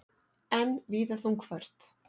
Enn víða þungfært